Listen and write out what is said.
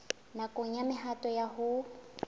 nakong ya mehato ya ho